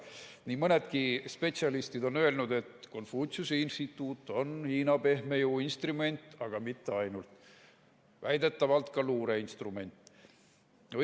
Nii mõnedki spetsialistid on öelnud, et Konfutsiuse Instituut on Hiina pehme jõu instrument, aga mitte ainult, väidetavalt ka luureinstrument.